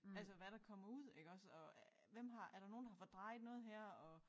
Altså hvad der kommer ud iggås og hvem har er der nogen der har fordrejet noget her og